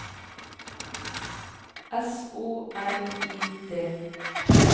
S O L I D